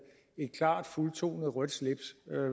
et klart fuldtonet rødt slips